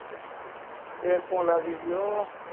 bank માં લાગી ગયો